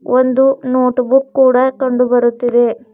ಒಂದು notebook ಕೂಡ ಕಂಡುಬರುತ್ತಿದೆ.